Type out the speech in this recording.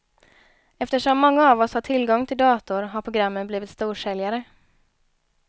Eftersom många av oss har tillgång till dator har programmen blivit storsäljare.